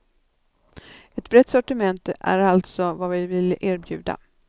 Ett brett sortiment är alltså vad vi vill erbjuda.